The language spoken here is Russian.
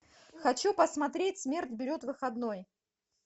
хочу посмотреть смерть берет выходной